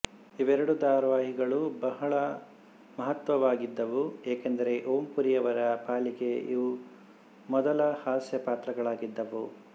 ಇವೆರಡೂ ಧಾರಾವಾಹಿಗಳು ಬಹಳ ಮಹತ್ವವಾಗಿದ್ದವು ಏಕೆಂದರೆ ಓಂ ಪುರಿಯವರ ಪಾಲಿಗೆ ಇವು ಮೊದಲ ಹಾಸ್ಯ ಪಾತ್ರಗಳಾಗಿದ್ದವು